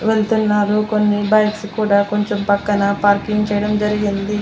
వెళ్తున్నారు కొన్ని బైక్స్ కూడా కొంచెం పక్కన పార్కింగ్ చేయడం జరిగింది.